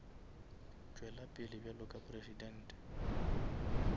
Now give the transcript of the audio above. tšwela pele bjalo ka presidente